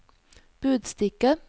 budstikke